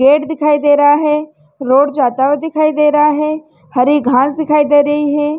Gate दिखाई दे रहा है रोड जाता हुआ दिखाई दे रहा है हरी घास दिखाई दे रही है।